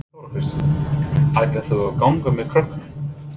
Þóra Kristín: Ætlar þú að ganga með krökkunum?